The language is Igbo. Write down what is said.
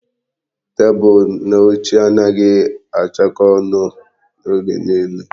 Tebụl na oche anaghị achakọ ọnụ oge nile.